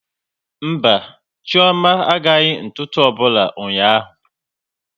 Mba, Chioma agaghị ntụtu ọbụla ụnyaahụ